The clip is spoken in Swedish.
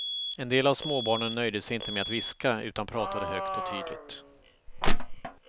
En del av småbarnen nöjde sig inte med att viska, utan pratade högt och tydligt.